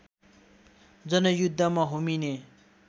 जनयुद्धमा होमिने